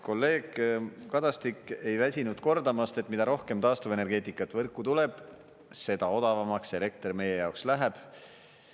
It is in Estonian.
Kolleeg Kadastik ei väsinud kordamast, et mida rohkem taastuvenergeetikat võrku tuleb, seda odavamaks elekter meie jaoks läheb.